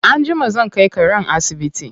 Anjima zan kai karen asibiti.